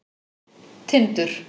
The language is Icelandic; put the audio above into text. Tindur